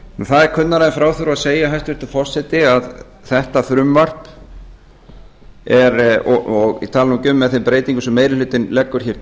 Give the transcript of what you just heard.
það er kunnara en frá þurfi að segja hæstvirtur forseti að þetta frumvarp og ég tala nú ekki um með þeim breytingum sem meiri hlutinn leggur hér